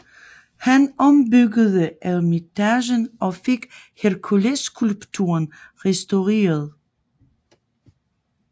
Han ombyggede eremitagen og fik Herkulesskulpturen restaureret